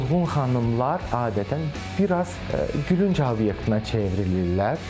Dolğun xanımlar adətən biraz gülünc obyektinə çevrilirlər.